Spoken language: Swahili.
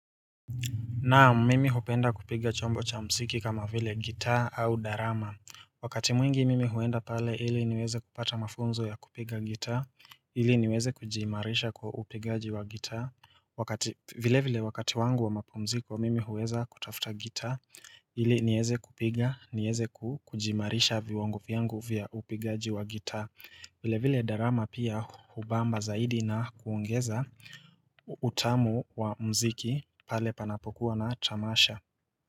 Naam mimi hupenda kupiga chombo cha mziki kama vile gitaa au darama. Wakati mwingi mimi huenda pale ili niweze kupata mafunzo ya kupiga gitaa, ili niweze kujiimarisha kwa upigaji wa gitaa. Vile vile wakati wangu wa mapumziko mimi huweza kutafuta gitaa, ili nieze kupiga, nieze kujiimarisha viwango vyangu vya upigaji wa gitaa. Vile vile darama pia hubamba zaidi na kuongeza utamu wa mziki pale panapokuwa na tamasha.